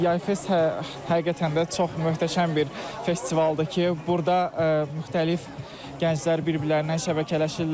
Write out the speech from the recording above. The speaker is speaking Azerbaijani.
Yay Fest həqiqətən də çox möhtəşəm bir festivaldır ki, burda müxtəlif gənclər bir-birlərinə şəbəkələşirlər.